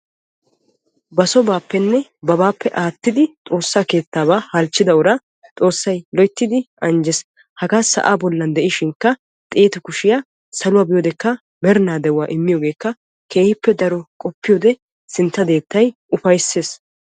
Ba sobappenne babappe aattidi godaa keettaabaa halchchida uraa xoossay loyttidi anjjees. hagaa sa'aa bollikka xeetu kushiyaa saluwaa biyoo wodekka merinaa de'uwaa immiyoogekka sintta deettay keehippe daro ufayssees.